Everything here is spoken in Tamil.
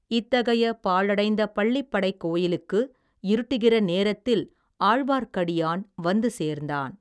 இத்தகைய பாழடைந்த பள்ளிப்படைக் கோயிலுக்கு இருட்டுகிற நேரத்தில் ஆழ்வார்க்கடியான் வந்து சேர்ந்தான்.